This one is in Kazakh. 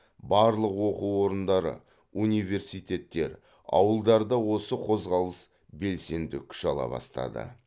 барлық оқу орындары университеттер ауылдарда осы қозғалыс белсенді күш ала бастады